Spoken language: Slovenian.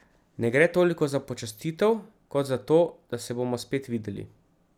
Ne gre toliko za počastitev, kot za to, da se bomo spet videli.